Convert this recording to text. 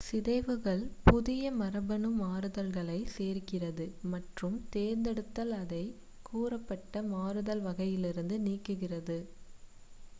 சிதைவுகள் புதிய மரபணு மாறுதல்களை சேர்க்கிறது மற்றும் தேர்ந்தெடுத்தல் அதை கூறப்பட்ட மாறுதல் வகையிலிருந்து நீக்குகிறது